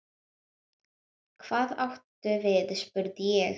Hvað áttu við spurði ég.